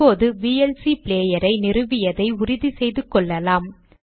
இப்போது விஎல்சி ப்ளேயரை நிறுவியதை உறுதி செய்து கொள்ளலாம்